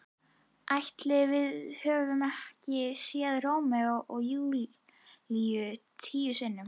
Ætli við höfum ekki séð Rómeó og Júlíu tíu sinnum?